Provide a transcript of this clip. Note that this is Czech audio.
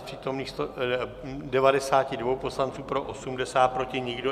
Z přítomných 92 poslanců pro 80, proti nikdo.